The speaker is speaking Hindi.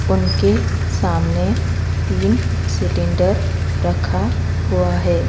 उनके सामने तीन सिलेंडर रखा हुआ है।